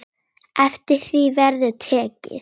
Eftir því verður tekið.